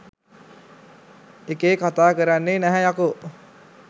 එකේ කතා කරන්නේ නැහැ යකෝ